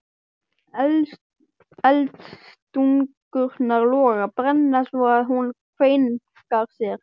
Eldstungurnar loga, brenna svo að hún kveinkar sér.